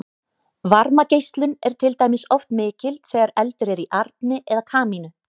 varmageislun er til dæmis oft mikil þegar eldur er í arni eða kamínu